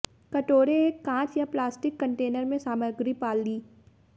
कटोरे एक कांच या प्लास्टिक कंटेनर में सामग्री पाली